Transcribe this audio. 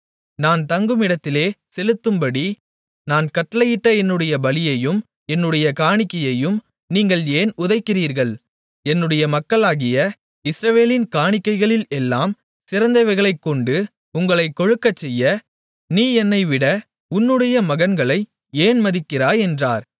நான் தங்குமிடத்திலே செலுத்தும்படி நான் கட்டளையிட்ட என்னுடைய பலியையும் என்னுடைய காணிக்கையையும் நீங்கள் ஏன் உதைக்கிறீர்கள் என்னுடைய மக்களாகிய இஸ்ரவேலின் காணிக்கைகளில் எல்லாம் சிறந்தவைகளைக்கொண்டு உங்களைக் கொழுக்கச்செய்ய நீ என்னைவிட உன்னுடைய மகன்களை ஏன் மதிக்கிறாய் என்கிறார்